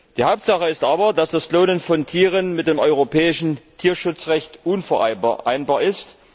Die Hauptsache ist aber, dass das Klonen von Tieren mit dem europäischen Tierschutzrecht unvereinbar ist.